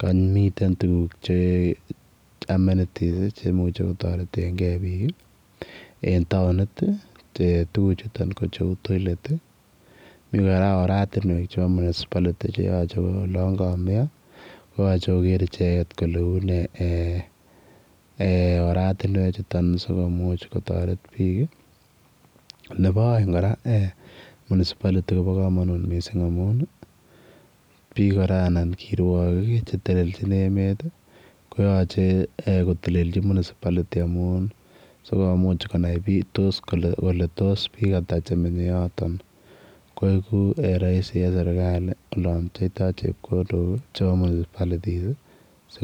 kamiiten tuguuk che amenities che imuchei kotaret kei biik en taunit ii che tuguuk chutoon ko uu toilet ii Mii kora oratinweek che yachei koger ichegeet kole unee eeh oratinweek chutoon sikomuuch kotaret biik ii nebo aeng kora [municipality] koba kamanut missing amuun ii biik kora anan kiruarigik che telelejiin emet ii koyachei eeh koteleljii municipality amuun sikomuuch konai kole tos biik ata che menyei yotoon koegu raisi en serikali olaan pcheitoi chepkondook chebo municipalities ii.